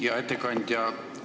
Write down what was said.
Hea ettekandja!